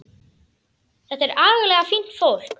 Þetta er agalega fínt fólk.